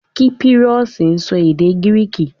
Kípírọ́sì sọ èdè Gíríìkì